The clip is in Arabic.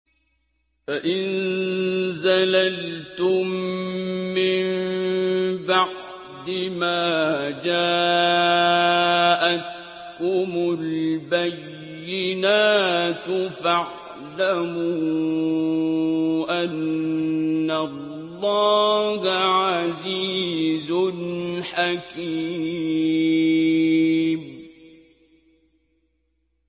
فَإِن زَلَلْتُم مِّن بَعْدِ مَا جَاءَتْكُمُ الْبَيِّنَاتُ فَاعْلَمُوا أَنَّ اللَّهَ عَزِيزٌ حَكِيمٌ